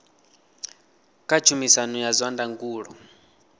kha tshumisano ya zwa ndangulo